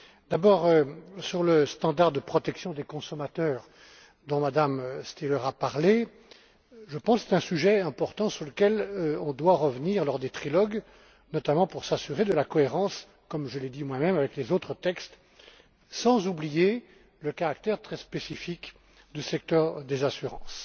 D'abord, à propos du standard de protection des consommateurs, dont MmeStihler a parlé je pense que c'est un sujet important sur lequel on doit revenir lors des trilogues, notamment pour s'assurer de la cohérence comme je l'ai dit moi même avec les autres textes, sans oublier le caractère très spécifique du secteur des assurances.